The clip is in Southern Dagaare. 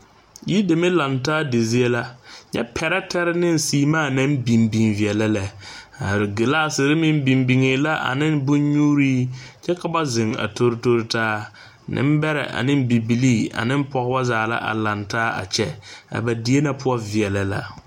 Yideme laŋe taa di zie la, nyɛ pɛrɛɛtɛɛ ne seemaa biŋ biŋ veɛlɛ lɛ a glasiri meŋ biŋ biŋɛ la ane bon nyuuri kyɛ ka ba zeŋ. a tori tori taa nenbeɛre ane bibiiri ane pɔgeba. zaa la laŋe taa a kyɛ a ba die na poɔ veɛlɛ la.